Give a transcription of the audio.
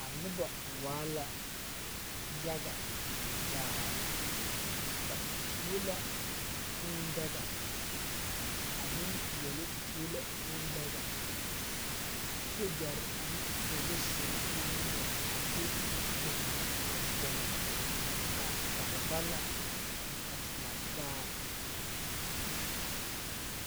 A noba waa la yaga zaa, ba tuo la kūū daga, a nempeɛle tuo la kūū daga, sogyare ane polisiri naŋ nore a de ba kpogili a vɔgele da kare ba la a te lantaa.